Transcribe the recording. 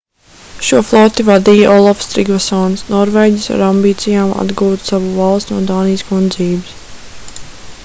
šo floti vadīja olafs trigvasons norvēģis ar ambīcijām atgūt savu valsti no dānijas kundzības